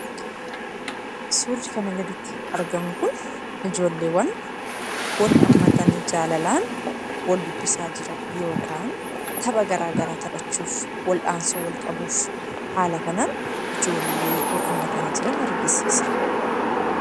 Surri kana gaditti argamuu kun, ijjoolleewwan wal hammaatani jaalalaan wal dubbisaa jiraan yookaan taphaa gara garaa taphachuuf, wal'ansoo wal qabuuf haala kanan ijjoollee wal hammatani jiraan argisisa.